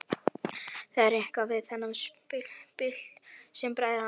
Það er eitthvað við þennan pilt sem bræðir hana.